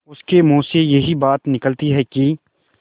उसके मुँह से यही बात निकलती है कि